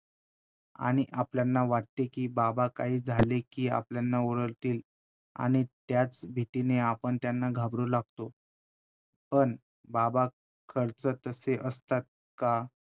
आणि आपल्यांना वाटते कि बाबा काही झाले कि आपल्यांना ओरडतील, आणि त्याच भीतीने आपण त्यांना घाबरू लागतो, पण बाबा खरच तसे असतात का?